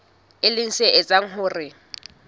e leng se etsang hore